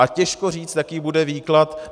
A těžko říct, jaký bude výklad.